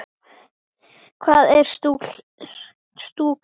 Hvað er stúka?